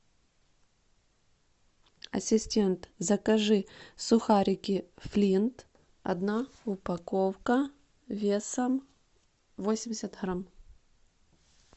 ассистент закажи сухарики флинт одна упаковка весом восемьдесят грамм